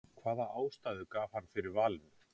hvaða ástæðu gaf hann fyrir valinu?